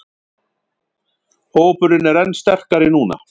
Hópurinn er enn sterkari núna